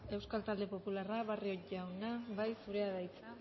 euskal talde popularra barrio jauna zurea da hitza